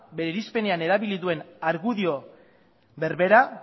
bere irizpenean erabili duen argudio berbera